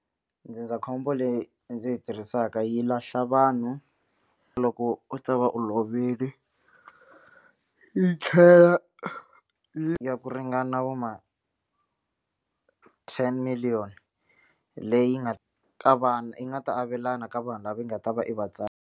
Ndzindzakhombo leyi ndzi yi tirhisaka yi lahla vanhu loko u ta va u lovile yi tlhela yi ya ku ringana vo ma ten million leyi nga ka vana yi nga ta avelana ka vanhu lava nga ta va i va .